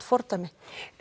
fordæmi